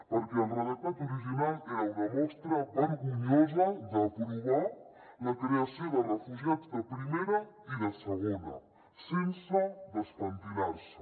perquè el redactat original era una mostra vergonyosa d’aprovar la creació de refugiats de primera i de segona sense despentinar se